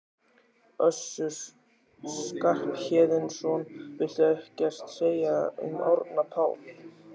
Össur Skarphéðinsson: Viltu ekkert segja um Árna Pál?